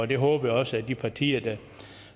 det håber jeg også de partier der